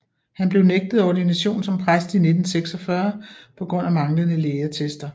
Han blev nægtet ordination som præst i 1946 på grund af manglende lægeattester